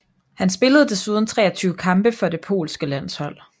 Han spillede desuden 23 kampe for det polske landshold